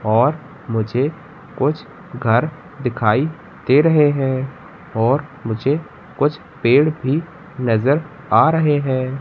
और मुझे कुछ घर दिखाई दे रहे हैं और मुझे कुछ पेड़ भी नजर आ रहे हैं।